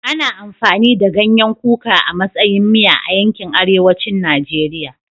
Ana amfani da ganyen kuka a matsayin miya a yankin arewacin Najeriya